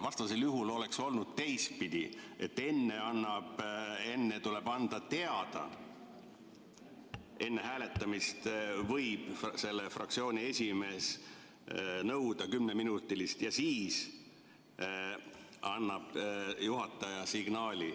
Vastasel juhul oleks olnud teistpidi, et enne tuleb anda teada, enne hääletamist võib fraktsiooni esimees nõuda kümneminutilist vaheaega ja siis annab juhataja signaali.